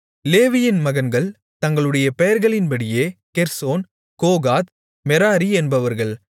லேவியின் மகன்கள் தங்களுடைய பெயர்களின்படியே கெர்சோன் கோகாத் மெராரி என்பவர்கள்